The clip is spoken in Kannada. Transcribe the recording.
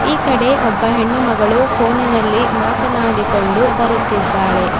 ಈ ಕಡೆ ಒಬ್ಬ ಹೆಣ್ಣು ಮಗಳು ಪೋನಿನಲ್ಲಿ ಮಾತನಾಡಿಕೊಂಡು ಬರುತ್ತಿದ್ದಾಳೆ.